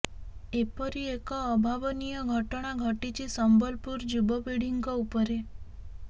ଏପରି ଏକ ଅଭାବନୀୟ ଘଟଣା ଘଟିଛି ସମ୍ବଲପୁର ଯୁବପିଢ଼ିଙ୍କ ଉପରେ